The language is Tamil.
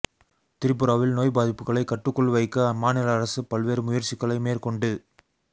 திரிபுராவில் நோய் பாதிப்புகளை கட்டுக்குள் வைக்க அம்மாநில அரசு பல்வேறு முயற்சிகளை மேற்கொண்டு